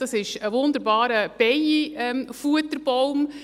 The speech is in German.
Das ist ein wunderbarer Bienenfutterbaum.